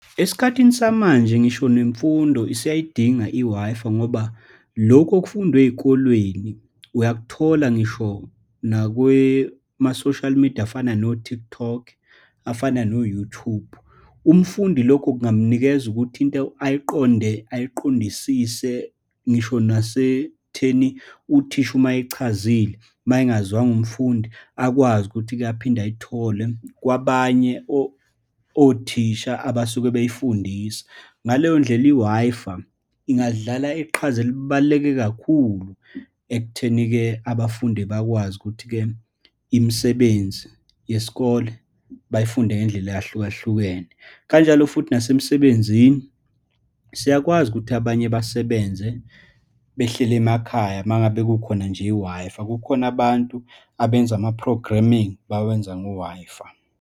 Esikhathini samanje, ngisho nemfundo isiyayidinga i-Wi-Fi, ngoba lokhu okufundwa ey'kolweni, uyakuthola ngisho nakwema-social media afana no-TikTok, afana no-YouTube. Umfundi lokho kungamnikeza ukuthi into ayiqonde, ayiqondisise ngisho nasekutheni uthisha uma eyichazile, uma engazwanga umfundi, akwazi ukuthi aphinde ayithole kwabanye othisha abasuke bey'fundisa. Ngaleyondlela, i-Wi-Fi ingadlala iqhaza elibaluleke kakhulu, ekutheni-ke abafundi bakwazi ukuthi-ke imisebenzi yesikole bayifunde ngendlela eyahlukahlukene. Kanjalo futhi nasemsebenzini, siyakwazi ukuthi abanye basebenze behleli emakhaya uma ngabe kukhona nje i-Wi-Fi, kukhona abantu abenza ama-programming, bawenza ngo-Wi-Fi.